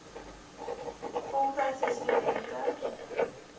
voltydse stu dente